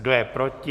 Kdo je proti?